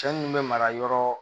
Cɛ mun bɛ mara yɔrɔ